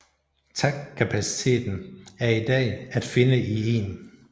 TACP kapaciteten er i dag at finde i 1